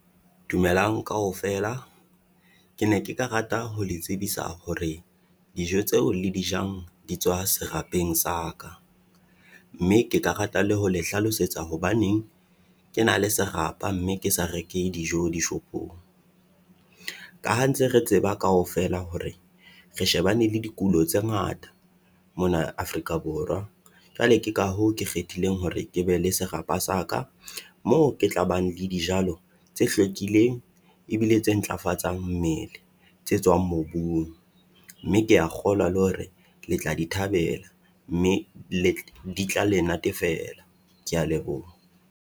Dumelang kaofela, ke ne ke karata ho le tsebisa hore dijo tseo le di jang di tswa serapeng sa ka. Mme ke karata le ho le hlalosetsa hobaneng ke na le serapa mme ke sa reke dijo dishopong. Ka ha ntse re tseba kaofela hore re shebane le dikulo tse ngata mona Afrika Borwa. Kale ke ka hoo ke kgethileng hore ke be le serapa sa ka, moo ke tla bang le dijalo tse hlwekileng ebile tse ntlafatsang mmele tse tswang mobung, mme kea kgolwa le hore le tla di thabela mme le di tla le natefela, kea leboha.